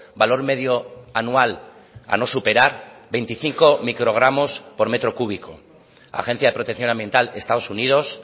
valor medio anual a no superar veinticinco microgramos por metro cúbico agencia de protección ambiental estados unidos